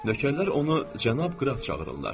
Nökərlər onu cənab qraf çağırırlar.